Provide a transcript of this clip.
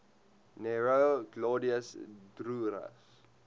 nero claudius drusus